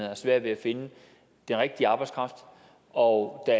har svært ved at finde den rigtige arbejdskraft og at